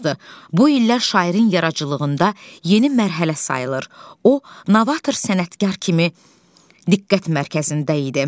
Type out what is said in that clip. Bu illər şairin yaradıcılığında yeni mərhələ sayılır, o, novator sənətkar kimi diqqət mərkəzində idi.